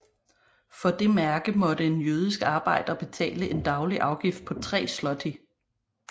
For det mærke måtte en jødisk arbejder betale en daglig afgift på tre zloty